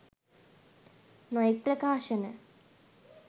නොයෙක් ප්‍රකාශන